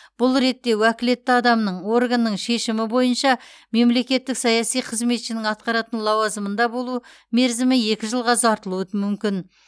бұл ретте уәкілетті адамның органның шешімі бойынша мемлекеттік саяси қызметшінің атқаратын лауазымында болу мерзімі екі жылға ұзартылуы мүмкін